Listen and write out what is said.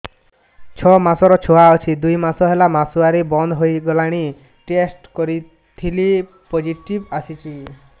ଛଅ ମାସର ଛୁଆ ଅଛି ଦୁଇ ମାସ ହେଲା ମାସୁଆରି ବନ୍ଦ ହେଇଗଲାଣି ଟେଷ୍ଟ କରିଥିଲି ପୋଜିଟିଭ ଆସିଛି